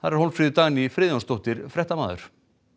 er Hólmfríður Dagný Friðjónsdóttir fréttamaður